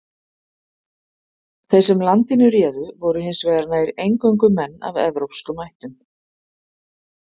Þeir sem landinu réðu voru hins vegar nær eingöngu menn af evrópskum ættum.